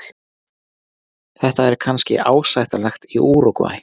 Þetta er kannski ásættanlegt í Úrúgvæ.